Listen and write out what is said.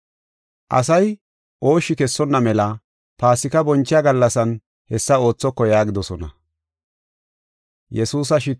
“Asay ooshshi kessonna mela Paasika bonchiya gallasan hessa oothoko” yaagidosona.